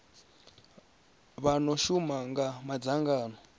vha no shuma kha madzangano